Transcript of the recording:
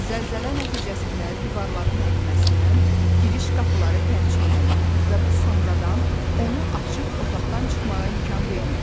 Zəlzələ nəticəsində divarların əyilməsindən giriş qapıları pərçimlənir və bu sonradan onu açıb otaqdan çıxmağa imkan vermir.